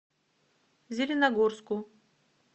зеленогорску